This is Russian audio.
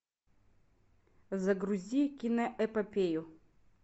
загрузи киноэпопею